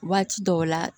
Waati dɔw la